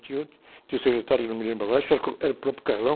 tinha outro, tinha o secretário que não me lembro agora, acho que era o próprio.